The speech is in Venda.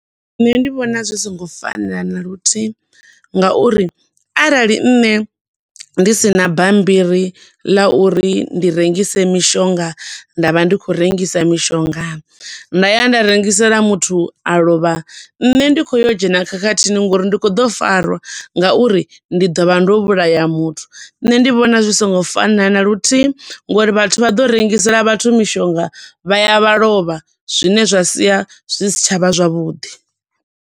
Nṋe ndi vhona zwi songo fanela na luthihi nga uri arali nṋe ndi sina bammbiri ḽa uri ndi rengise mishonga nda vha ndi khou rengisa mishonga, nda ya nda rengisela muthu a lovha, nṋe ndi kho yo dzhena khakhathini ngouri ndi kho ḓo farwa nga uri ndi ḓo vha ndo vhulaya muthu. Nṋe ndi vhona zwi songo fanela na luthihi ngo uri vhathu vha ḓo rengisela vhathu mishonga vha ya vha lovha, zwine zwa sia zwi si tsha vha zwavhuḓi.